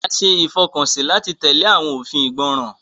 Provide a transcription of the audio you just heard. A ṣe ìfọkànsí láti tẹle awọn òfin ìgbọràn.